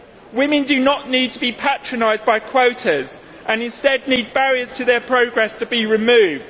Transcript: Women do not need to be patronised by quotas, and instead need barriers to their progress to be removed.